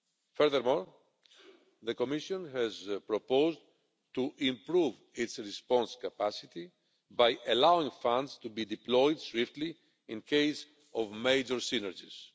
Furthermore, the Commission has proposed to improve its response capacity by allowing funds to be deployed swiftly where there are major synergies.